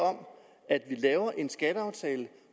om at vi laver en skatteaftale